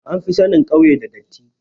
An fi sanin kauye da datti